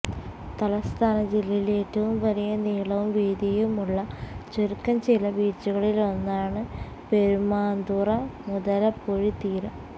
തലസ്ഥാന ജില്ലയിൽ ഏറ്റവും വലിയ നീളവും വീതിയുമുള്ള ചുരുക്കം ചില ബീച്ചുകളിലൊന്നാണ് പെരുമാതുറ മുതലപ്പൊഴി തീരം